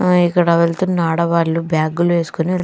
ఆ ఇక్కడ వెళ్తున్న ఆడవాళ్ళు బ్యాగులు వేసుకొని వెళ్--